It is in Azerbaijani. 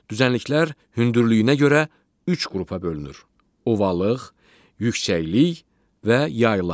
Düzənliklər hündürlüyünə görə üç qrupa bölünür: ovalıq, yüksəklik və yayla.